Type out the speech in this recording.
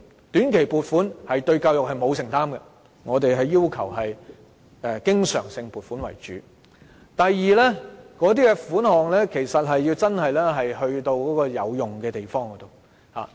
短期撥款對教育欠缺承擔，我們要求以經常性撥款為主；第二，款項要真的花在有用的地方。